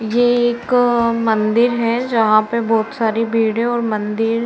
ये एक मंदिर है जहाँ पर बहुत सारी भीड़ है और मंदिर --